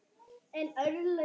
Hann þagnaði en